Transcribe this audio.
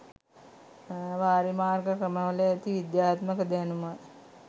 වාරිමාර්ග ක්‍රමවල ඇති විද්‍යාත්මක දැනුම